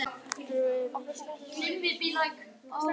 Dimmar skýjaborgir að hrannast upp við sjóndeildarhring.